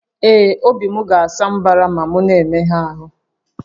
Ee, obi m ga-asa mbara ma m na-emegha ahụ